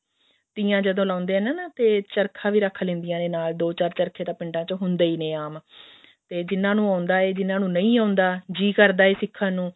ਤੀਆਂ ਜਦੋਂ ਲਾਉਂਦੇ ਨੇ ਨਾ ਤੇ ਚਰਖਾ ਵੀ ਰੱਖ ਲੈਂਦੀਆਂ ਨੇ ਨਾਲ ਦੋ ਚਾਰ ਚਰਖੇ ਤਾਂ ਪਿੰਡਾਂ ਵਿੱਚ ਹੁੰਦੇ ਹੀ ਨੇ ਆਮ ਤੇ ਜਿਹਨਾ ਨੂੰ ਆਉਂਦਾ ਹੈ ਜਿਹਨਾ ਨੂੰ ਨਹੀਂ ਆਉਂਦਾ ਜੀ ਕਰਦਾ ਹੈ ਸਿੱਖਣ ਨੂੰ